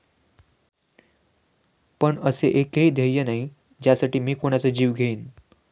पण असे एकही ध्येय नाही ज्यासाठी मी कुणाचा जीव घेईन.